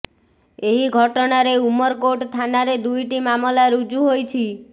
ଏହି ଘଟଣାରେ ଉମରକୋଟ ଥାନାରେ ଦୁଇଟି ମାମଲା ରୁଜୁ ହୋଇଛି